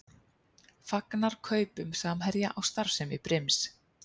Fagnar kaupum Samherja á starfsemi Brims